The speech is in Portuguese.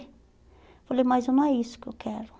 Falei, mas não é isso que eu quero.